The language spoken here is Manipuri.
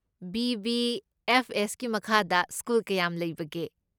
ꯕꯤ.ꯕꯤ.ꯑꯦꯐ.ꯑꯦꯁ.ꯀꯤ ꯃꯈꯥꯗ ꯁ꯭ꯀꯨꯜ ꯀꯌꯥꯝ ꯂꯩꯕꯒꯦ?